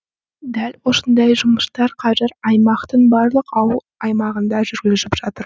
дәл осындай жұмыстар қазір аймақтың барлық ауыл аймағында жүргізіліп жатыр